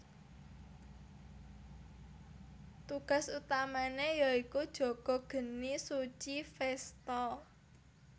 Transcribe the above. Tugas utamane ya iku jaga geni suci Vesta